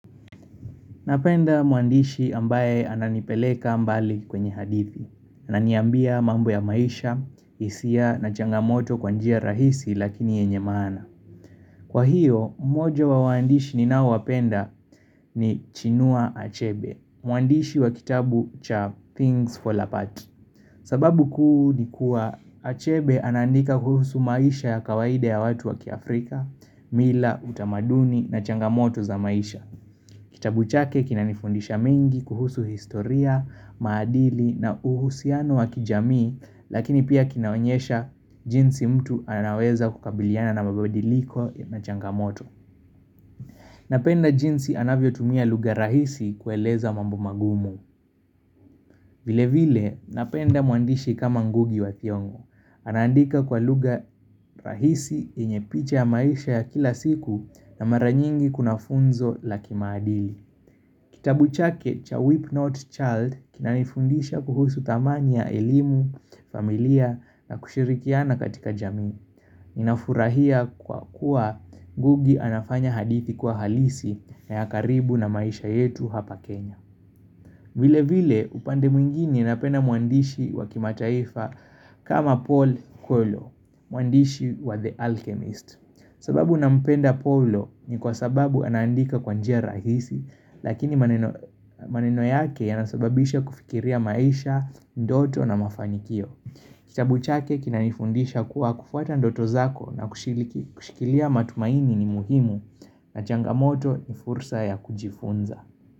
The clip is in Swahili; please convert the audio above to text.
Napenda mwandishi ambaye ananipeleka mbali kwenye hadithi Ananiambia mambo ya maisha, isia na changamoto kwa njia rahisi lakini yenye maana Kwa hiyo, mojo wa waandishi ninaowapenda ni Chinua Achebe Mwandishi wa kitabu cha Things Fall Apart sababu kuu ni kuwa Achebe anaandika kuhusu maisha ya kawaida ya watu wa kiAfrika mila utamaduni na changamoto za maisha Kitabu chake kinanifundisha mengi kuhusu historia, maadili na uhusiano wa kijamii, lakini pia kinaonyesha jinsi mtu anaweza kukabiliana na mabadiliko na changamoto. Napenda jinsi anavyotumia lugha rahisi kueleza mambo magumu. Vile vile, napenda mwandishi kama ngugi wa thiong'o. Anaandika kwa lugha rahisi yenye picha ya maisha ya kila siku na mara nyingi kuna funzo la kimaadili. Kitabu chake cha Weep Not Child kinanifundisha kuhusu thamani ya elimu, familia na kushirikiana katika jamii. Ninafurahia kwa kuwa ngugi anafanya hadithi kuwa halisi na ya karibu na maisha yetu hapa Kenya. Vile vile upande mwingine napenda mwandishi wa kimataifa kama Paul Colo, mwandishi wa The Alchemist. Sababu nampenda paulo ni kwa sababu anaandika kwa njia rahisi, lakini maneno yake yanasababisha kufikiria maisha, ndoto na mafanikio. Kitabu chake kinanifundisha kuwa kufuata ndoto zako na kushi kushikilia matumaini ni muhimu na changamoto ni fursa ya kujifunza.